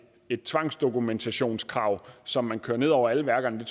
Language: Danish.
et tvangsdokumentationskrav som man kører ned over alle værkerne